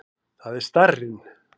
Það er starrinn.